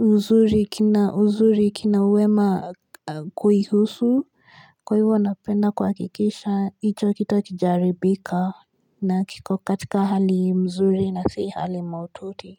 uzuri kina uzuri kina wema kuhuhusu kwa hivyo napenda kuhakikisha ito kita kijaribika na kiko katika hali mzuri na kisi hali maututi.